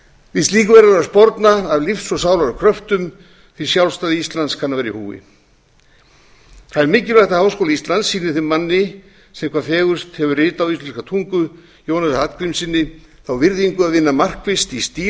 við slíku verður að sporna af lífs og sálar kröftum því sjálfstæði íslands kann að vera í húfi það er mikilvægt að háskóli íslands sýni þeim manni sem hvað fegurst hefur ritað á íslenska tungu jónasi hallgrímssyni þá virðingu að vinna markvisst í stíl